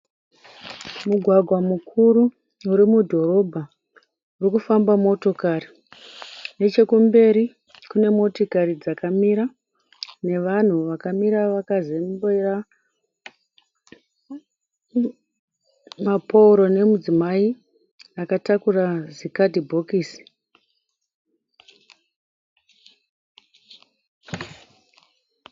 Mugwagwa mukuru uri mudhorobha urikufamba motokari, nechekumberi kune motikari dzakamira, nevanhu vakamira vakazembera mapouro nemudzimai akatakura zikadhibhokisi.